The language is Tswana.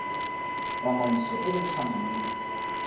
tsamaiso e e tshwanang le